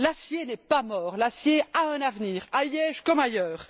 L'acier n'est pas mort, l'acier a un avenir, à Liège comme ailleurs.